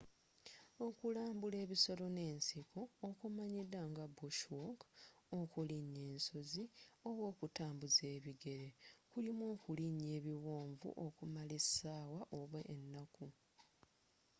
okulambuula ebisolo n’ensikookumanyidwa nga bushwalk” okulinya ensozi” oba okutambuza ebigere” kulimu okulinnya ebiwonvu okumala essaawa oba ennaku